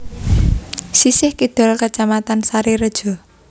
Sisih kidul Kacamatan Sarirejo